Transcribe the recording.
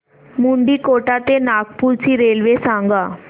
मुंडीकोटा ते नागपूर ची रेल्वे सांगा